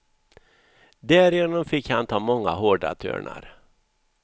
Därigenom fick han ta många hårda törnar.